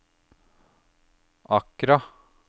Accra